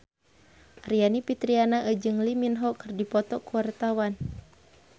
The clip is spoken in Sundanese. Aryani Fitriana jeung Lee Min Ho keur dipoto ku wartawan